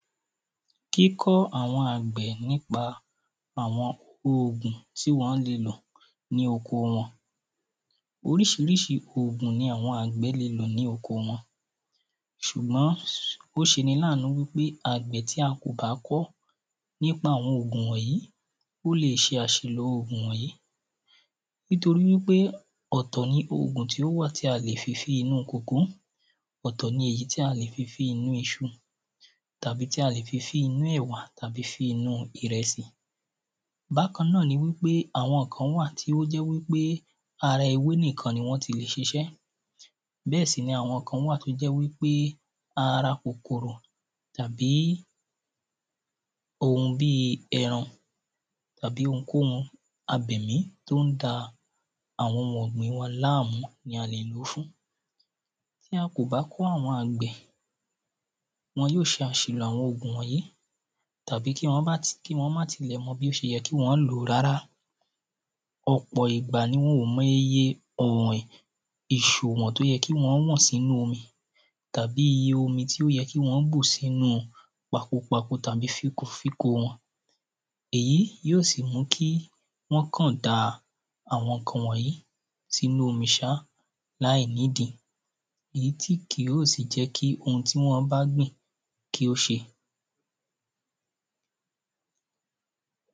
Kíkọ́ àwọn àgbẹ̀ nípà àwọn oògùn tí wọ́n le lò ní oko wọn. Oríṣiríṣi oògùn ni àwọn àgbẹ̀ le lò ní oko wọn. S̩ùgbọ́n ó ṣe ni láànú wípé àgbẹ̀ tí a kò bá kọ́ nípa àwọn ògùn wọ̀nyí, ó leè ṣe àsìlò oògũ̀ wọ̀̃yí. Nítorí wípé ọ̀tọ̀ ni oògùn tí ó wà tí a lè fi fín inú coacoa. Ọ̀tọ̀ ni èyí tí a lè fi fín inú iṣu. Tàbí tí a lè fi fín inú ẹ̀wà Àbí fí inú ìrẹsì. Bákan náà ni àwọn kan wà tí ó jẹ́ wípé ara ewé nìkan ni wọ́n ti lè ṣiṣẹ́. Bẹ́ẹ̀ sì ni àwọn kán wà tó jẹ́ wípé ara kòkòrò tàbí ohun bíi èrùn tàbí ohunkóhun tó ń da àwọn ohun ọ̀gbìn láàmú ni a lè ló fún. Bí a kò bá kọ́ àwọn àgbẹ̀, wọn yó ṣe àsìlò àwọn ògùn wọ̀nyí. Tàbí kí wọ́n má ti kí wọ́n má tilẹ̀ mọ bí ó ṣe yẹ kí wọ́n lò ó rárá. Ọ̀pọ̀ ìgbà ni wọn ò mọ iye ọ̀wìn ìsù tí ó yẹ kí wọ́n wọ̀n sínú omi. Tàbí iye omi tí ó yẹ kí wọn ó bù sí inu pakopako tàbí fínkofínko wọn. Èyí yó sì mú kí wọ́n kàn da àwọn ǹkan wọ̀nyí sínú omi sá láláìnídí. Èyí tí kì yó sì jẹ́ kí ohun tí wọ́n bá gbìn kí ó ṣe.